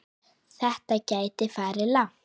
Þetta gæti farið langt.